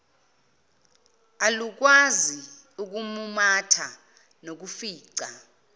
alukwazi ukumumatha nokufica